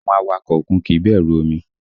Àwọn awakọ̀ òkun kìí bẹ̀rù omi